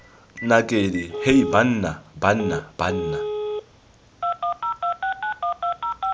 nakedi hei banna banna banna